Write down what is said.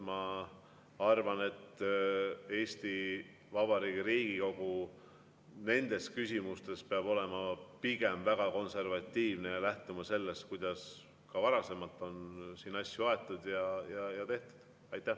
Ma arvan, et Eesti Vabariigi Riigikogu peab nendes küsimustes olema pigem väga konservatiivne ja lähtuma sellest, kuidas ka varasemalt on siin asju aetud ja tehtud.